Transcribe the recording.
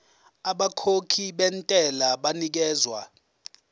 abakhokhi bentela banikezwa